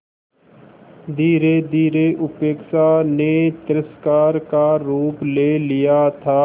धीरेधीरे उपेक्षा ने तिरस्कार का रूप ले लिया था